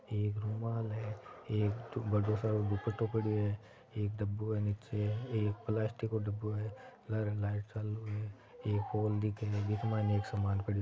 एक रुमाल है एक बड़ो सरो दुपटो पडयो है एक दब्बू है निचे एक प्लास्टिक को ड़बो है लारे लाइट चालू हैं एक पोल दीखे हैं। विके मायने एक सामान पडियो--